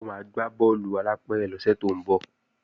Ó máa gbá bọ́ọ̀lù alápẹ̀rẹ̀ lọ́sẹ̀ tó ń bọ̀